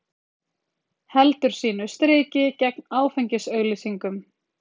Heldur sínu striki gegn áfengisauglýsingum